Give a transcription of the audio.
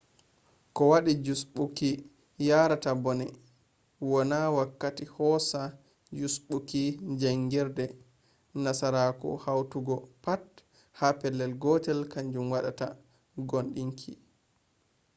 ko waɗi jusɓuuki yarata bone wonna wakkati boosa jusɓuuki jaangirde? nasarako hawtugo pat ha pellel gotel kanjum waddata gooɗinki